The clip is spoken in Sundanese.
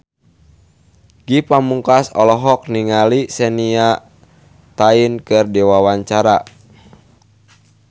Ge Pamungkas olohok ningali Shania Twain keur diwawancara